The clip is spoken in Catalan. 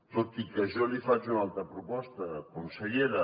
tot i que jo li faig una altra proposta consellera